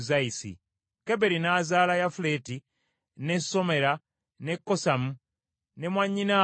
Keberi n’azaala Yafuleti, ne Somera, ne Kosamu ne mwannyinaabwe Suwa.